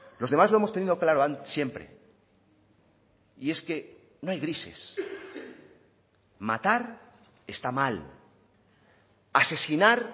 los demás lo hemos tenido claro siempre y es que no hay grises matar está mal asesinar